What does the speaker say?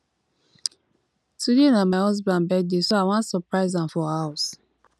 today na my husband birthday so i wan surprise am for house